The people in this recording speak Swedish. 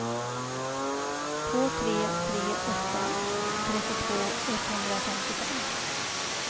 två tre tre åtta trettiotvå etthundrafemtiofem